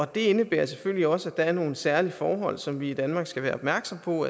det indebærer selvfølgelig også at der er nogle særlige forhold som vi i danmark skal være opmærksomme på